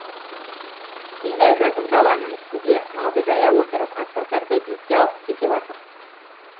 мидай жазық даланың үстінде малды жая отырып атбасарды бетке алып кете бардық